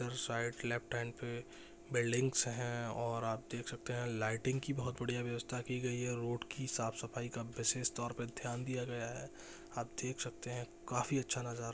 side left hand पे buildings है और आप देख सकते है और लाइटिंग की बहुत बढ़िया वेवस्था कि गई है रोड कि साफ सफाई विषेस तौर पे ध्यान गया है आप देख सकते है काफी अच्छा नज़ारा--